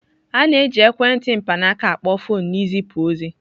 A na-eji ekwentị mkpanaaka akpo foọnụ na izipu ozi.